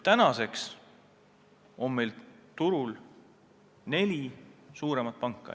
Praeguseks on meil turul neli suuremat panka.